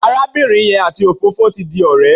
Arábìnrin yẹn àti òfófó ti di ọ̀rẹ́.